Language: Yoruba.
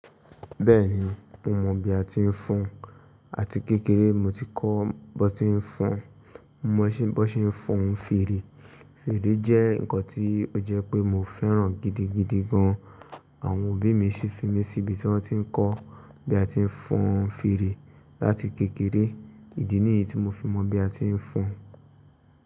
Bẹ́ẹ̀ni, mo mọ bí a ti ń fọn àti kékeré mo ti kọ́ bó ti ń fọn, mo mọ̀ bó ti ń fọn fèrè. Fèrè jẹ́ nǹkan tí ó jẹ́ pé mo fẹ́ràn gidigidi gan. Àwọn òbí mi sì fi mí sí ibi tí wọ́n ti ń kọ́ bí a ti ń fọn fèrè láti kékeré. Ìdí nìyí tí mo fi mọ bí a ti ń fọn.